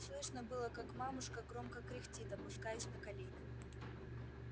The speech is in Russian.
слышно было как мамушка громко кряхтит опускаясь на колени